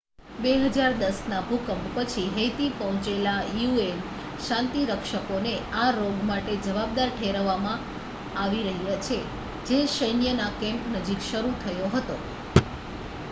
2010ના ભૂકંપ પછી હૈતી પહોંચેલા યુએન શાંતિરક્ષકોને આ રોગ માટે જવાબદાર ઠેરવવામાં આવી રહ્યા છે જે સૈન્યના કેમ્પ નજીક શરૂ થયો હતો